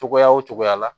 Cogoya o cogoya la